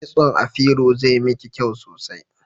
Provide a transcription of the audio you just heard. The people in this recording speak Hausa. Kitson afiro zai miki kyau sosai